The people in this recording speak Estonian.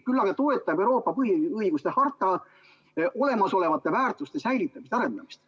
Küll aga toetab Euroopa põhiõiguste harta olemasolevate väärtuste säilitamist ja arendamist.